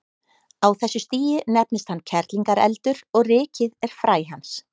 Á þessu stigi nefnist hann kerlingareldur og rykið er fræ hans.